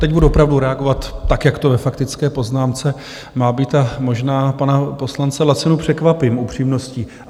Teď budu opravdu reagovat tak, jak to ve faktické poznámce má být, a možná pana poslance Lacinu překvapím upřímností.